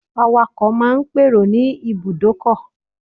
Awakọ̀ máa n pèrò ní Ibùdọ́kọ̀